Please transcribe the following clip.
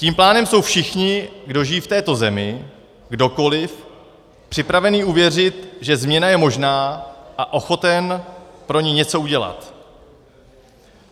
Tím pádem jsou všichni, kdo žijí v této zemi, kdokoliv, připravení uvěřit, že změna je možná, a ochoten pro ni něco udělat.